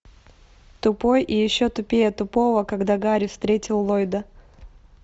тупой и еще тупее тупого когда гарри встретил ллойда